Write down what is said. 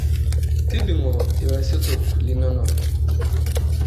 Tudung'o ilosotok linonok.